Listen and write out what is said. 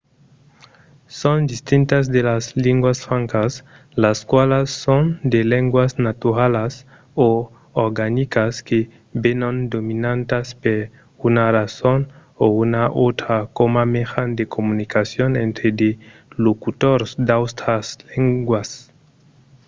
son distintas de las linguas francas las qualas son de lengas naturalas o organicas que venon dominantas per una rason o una autra coma mejan de comunicacion entre de locutors d’autras lengas